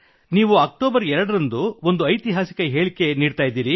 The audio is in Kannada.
ನೀವು ಅಕ್ಟೋಬರ್ 2 ರಂದು ಒಂದು ಐತಿಹಾಸಿಕ ಹೇಳಿಕೆ ನೀಡಲಿದ್ದೀರಿ